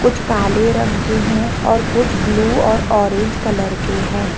कुछ काले रंग के हैं और कुछ ब्लू और ऑरेंज कलर के है।